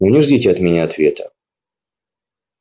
но не ждите от меня ответа